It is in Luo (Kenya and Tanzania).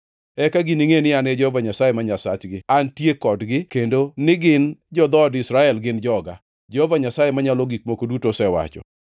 Eka giningʼe ni, an Jehova Nyasaye ma Nyasachgi antie kodgi, kendo ni gin, jo-dhood Israel, gin joga, Jehova Nyasaye Manyalo Gik Moko Duto osewacho.